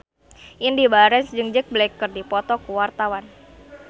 Indy Barens jeung Jack Black keur dipoto ku wartawan